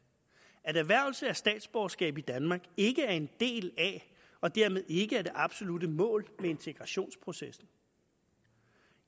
at erhvervelse af statsborgerskab i danmark ikke er en del af og dermed ikke er det absolutte mål med integrationsprocessen